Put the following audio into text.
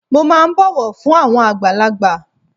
Mo máà ń bọ̀wọ̀ fún àwọn àgbàlagbà.